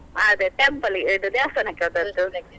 ಅದೇ temple ಇದು ದೇವಸ್ಥಾನಕ್ಕೆ ಹೋದದ್ದು.